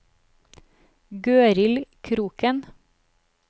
Gøril Kroken